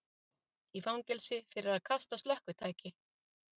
Í fangelsi fyrir að kasta slökkvitæki